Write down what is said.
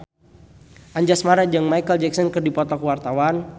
Anjasmara jeung Micheal Jackson keur dipoto ku wartawan